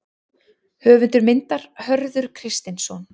Höfundur myndar: Hörður Kristinsson.